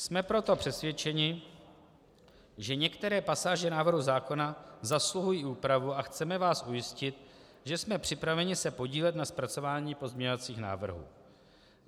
Jsme proto přesvědčeni, že některé pasáže návrhu zákona zasluhují úpravu a chceme vás ujistit, že jsme připraveni se podílet na zpracování pozměňovacích návrhů.